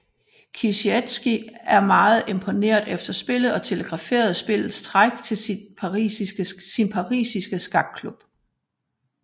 Kieseritzky var meget imponeret efter spillet og telegraferede spillets træk til sin parisiske skakklub